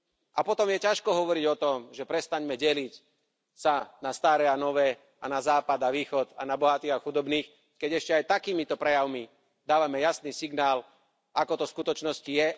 A potom je ťažko hovoriť o tom, že prestaňme sa deliť na staré a nové, na západ a východ a na bohatých a chudobných, keď ešte aj takýmito prejavmi dávame jasný signál, ako to v skutočnosti je.